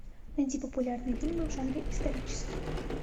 найди популярные фильмы в жанре исторический